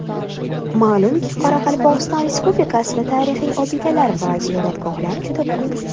Ma’lumki, Qoraqalpog‘iston Respublikasida tarixiy obidalar va ziyoratgohlar juda ko‘p.